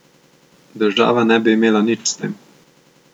Država ne bi imela nič s tem.